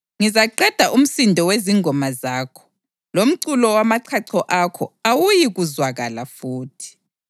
Ngizaqeda umsindo wezingoma zakho; lomculo wamachacho akho awuyikuzwakala futhi.